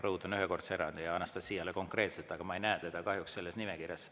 Rõhutan, ühekordse erandi, ja Anastassiale konkreetselt, aga ma ei näe teda kahjuks selles nimekirjas.